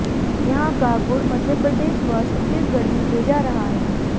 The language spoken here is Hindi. यहां का गुड़ मध्यप्रदेश व छत्तीसगढ़ में भेजा रहा है